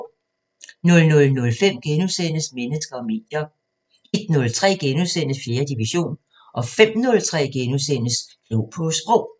00:05: Mennesker og medier * 01:03: 4. division * 05:03: Klog på Sprog *